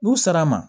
U sara ma